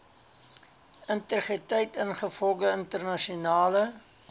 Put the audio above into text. integriteit ingevolge internasionale